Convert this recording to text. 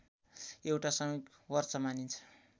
एउटा सामूहिक वर्ष मानिन्छ